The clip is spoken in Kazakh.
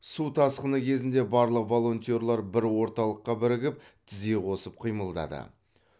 су тасқыны кезінде барлық волонтер бір орталыққа бірігіп тізе қосып қимылдады